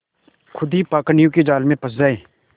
खुद ही पाखंडियों के जाल में फँस जाए